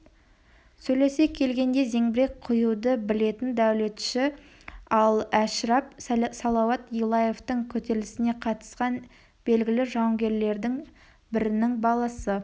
сөйлесе келгенде зеңбірек құюды білетін дәулетші ал әшірап салауат юлаевтың көтерілісіне қатынасқан белгілі жауынгерлердің бірінің баласы